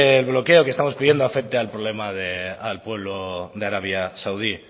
el bloqueo que estamos pidiendo afecte al problema del al pueblo de arabia saudí